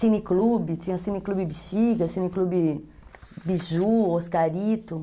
Cine Clube, tinha Cine Clube Bixiga, Cine Clube Biju, Oscarito.